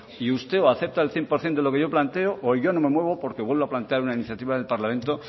y usted o acepta el cien por ciento de lo que yo planteo o yo no me muevo porque vuelvo a plantear una iniciativa del parlamento